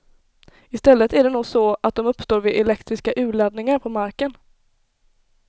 Istället är det nog så att de uppstår vid elektriska urladdningar på marken.